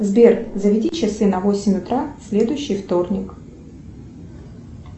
сбер заведи часы на восемь утра в следующий вторник